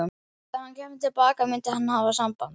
Þegar hann kæmi til baka myndi hann hafa samband.